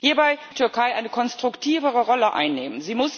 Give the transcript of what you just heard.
Hierbei muss die Türkei eine konstruktivere Rolle einnehmen.